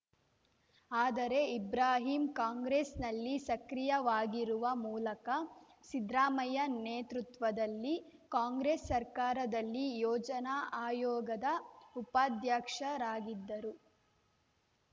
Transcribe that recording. ಆದರೆ ಇಬ್ರಾಹಿಂ ಕಾಂಗ್ರೆಸ್‌ನಲ್ಲಿ ಸಕ್ರಿಯವಾಗಿರುವ ಮೂಲಕ ಸಿದ್ರಾಮಯ್ಯ ನೇತೃತ್ವದಲ್ಲಿ ಕಾಂಗ್ರೆಸ್‌ ಸರ್ಕಾರದಲ್ಲಿ ಯೋಜನಾ ಆಯೋಗದ ಉಪಾಧ್ಯಕ್ಷರಾಗಿದ್ದರು